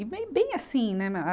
E bem, bem assim, né? Na a